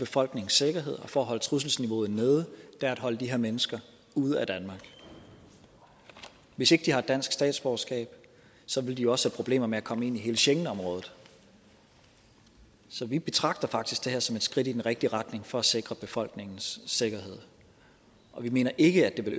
befolknings sikkerhed og for at holde trusselsniveauet nede er at holde de her mennesker ude af danmark hvis ikke de har dansk statsborgerskab vil de også have problemer med at komme ind i hele schengenområdet så vi betragter faktisk det her som et skridt i den rigtige retning for at sikre befolkningens sikkerhed og vi mener ikke at det